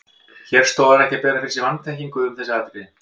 Hér stoðar ekki að bera fyrir sig vanþekkingu um þessi atriði.